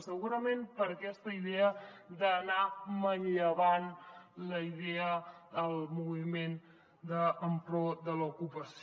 segurament per aquesta idea d’anar manllevant la idea del moviment en pro de l’ocupació